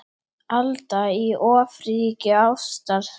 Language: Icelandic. Alda í ofríki ástar.